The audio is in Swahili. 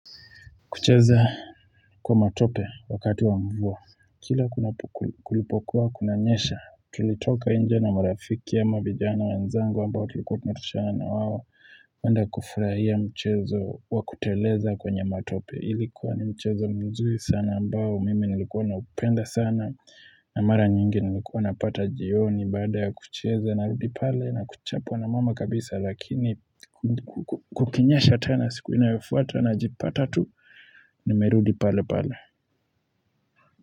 Kucheza kwa matope wakati wa mvua. Kila kulipokuwa, kuna nyesha. Tilitoka nje na marafiki ama vijana wenzangu ambao tulikuwa tunatoshana na wao. Wanda kufurahia mchezo wa kuteleza kwenye matope. Ilikuwa ni mchezo mzuri sana ambao. Mimi nilikuwa na upenda sana. Na mara nyingi nilikuwa na pata jioni baada ya kucheza na rudi pale na kuchapwa na mama kabisa. Lakini kukinyesha tena siku inayofuata najipata tu. Nimerudi pale pale.